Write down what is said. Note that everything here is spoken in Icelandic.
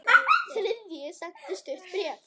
Þriðji sendi stutt bréf